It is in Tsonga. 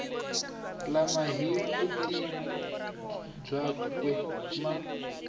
lama hi vutivi byakwe ma